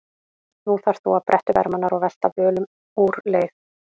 Nú þarft þú að bretta upp ermarnar og velta völum úr leið.